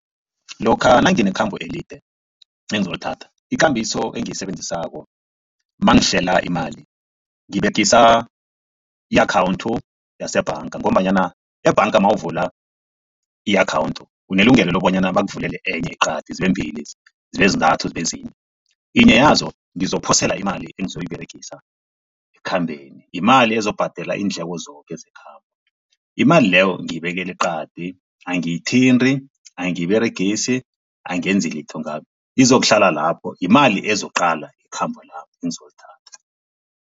Lokha nanginekhambo elide engizolithatha ikambiso engiyisebenzisako mangihlela imali ngiberegisa i-akhawundi yesebhanga ngombanyana ebhanga mawuvula i-akhawundi unelungelo lobonyana bakuvulele enye eqadi zibe mbili, zibe zintathu, zibe zihle. Yinye yazo ngizophosela imali engizoyiberegisa ekukhambeni yimali ezokubhadela iindleko zoke zekhabo. Imali leyo ngiyibekela eqadi angiyithindi angiyiberegisi angenzi litho ngayo izokuhlala lapho yimali ezokuqala ikhambo lami engizolithatha.